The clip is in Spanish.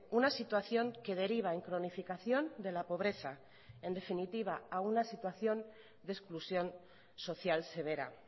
una situación que deriva en cronificación de la pobreza en definitiva a una situación de exclusión social severa